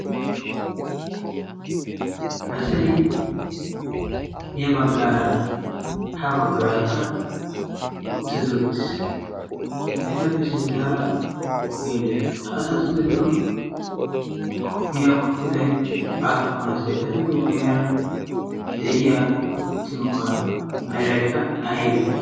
Asay ya baggaara, ha baggaaraka uttidi uttiis. Etappe sinttara ogee de'ees. Ha asatu gidon koppiyaa wottiday appun asee? Etappe guyera uttiyoba meray aybe?